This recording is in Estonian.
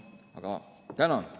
Aga tänan!